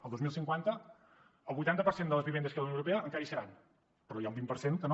el dos mil cinquanta el vuitanta per cent de les vivendes que hi ha a la unió europea encara hi seran però n’hi ha un vint per cent que no